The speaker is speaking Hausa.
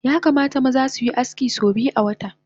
Yakamata maza suyi aski so biyu awata